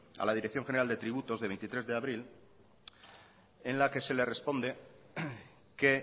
a la dirección general de tributos de veintitrés de abril en la que se le responde que